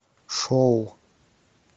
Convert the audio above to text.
шоу